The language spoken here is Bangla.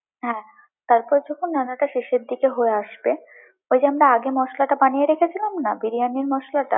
তারপর যখন রান্নাটা শেষের দিকে হয়ে আসবে, ঐজন্য আগে মশলাটা বানিয়ে রেখে দিলাম না, বিরিয়ানির মশলাটা।